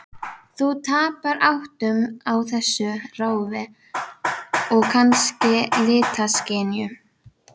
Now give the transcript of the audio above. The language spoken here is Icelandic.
Þú tapar áttum á þessu ráfi, og kannski litaskynjun.